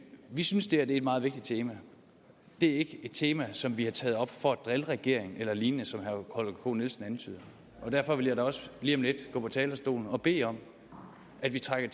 vi synes det her er et meget vigtigt tema det et tema som vi har taget op for at drille regeringen eller lignende som herre holger k nielsen antyder derfor vil jeg da også lige om lidt gå på talerstolen og bede om at vi trækker